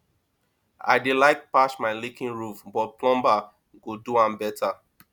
i dey like patch my leaking roof but plumber go do am better